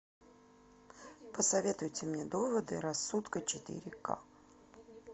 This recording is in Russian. посоветуйте мне доводы рассудка четыре ка